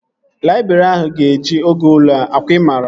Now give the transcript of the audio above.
Laịbrị ahụ ga-eju oge ule a. Ọ kwa ị maara?